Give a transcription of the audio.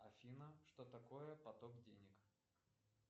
афина что такое поток денег